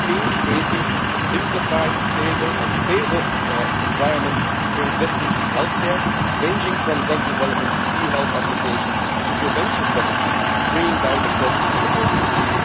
This means creating a simplified, stable and favourable environment for investing in healthcare, ranging from drug development to e health applications to prevention strategies, bringing down the cost for the whole system.